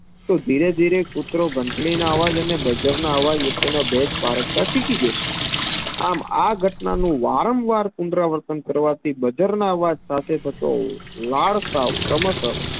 તો ધીરે ધીરે કૂતરો ધંટડી ના અવાજ અને બજરના અવાજ વચ્ચેનો ભેદ પારખતા શીખી જશે આમ આ ઘટનાનું વાર્મ વાર પૂયણરાવર્તન કરવાથી બાજરાના અવાજ સાથે થતું વરસાવ ક્રમશ